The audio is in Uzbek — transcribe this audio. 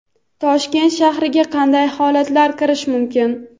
Toshkent shahriga qanday holatlarda kirish mumkin?.